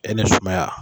E ni sumaya